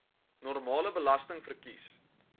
normale belasting verkies